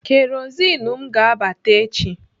Kerozin m ga-abata echi.